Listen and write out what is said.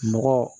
Mɔgɔ